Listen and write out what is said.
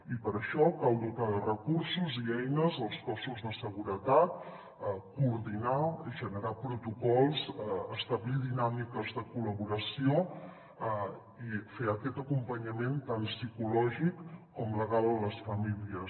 i per a això cal dotar de recursos i eines els cossos de seguretat coordinar generar protocols establir dinàmiques de col·laboració i fer aquest acompanyament tant psicològic com legal a les famílies